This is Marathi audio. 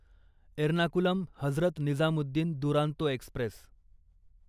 एर्नाकुलम हजरत निजामुद्दीन दुरांतो एक्स्प्रेस